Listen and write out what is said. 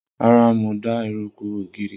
Rara, Mo n da eruku ogiri.